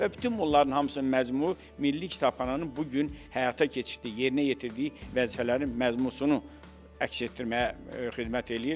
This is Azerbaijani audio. Və bütün bunların hamısının məzmunu Milli Kitabxananın bu gün həyata keçirtdiyi, yerinə yetirdiyi vəzifələrin məzmununu əks etdirməyə xidmət eləyir.